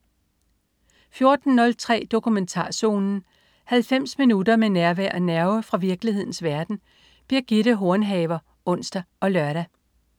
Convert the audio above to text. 14.03 Dokumentarzonen. 90 minutter med nærvær og nerve fra virkelighedens verden. Birgitte Hornhaver (ons og lør)